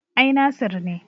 Ai Nasir ne